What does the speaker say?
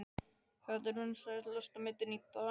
Þetta er vinsælasta myndin í dag!